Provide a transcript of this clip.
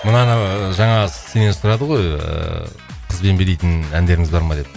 мынаны жаңағы сенен сұрады ғой ыыы қызбен билейтін әндеріңіз бар ма деп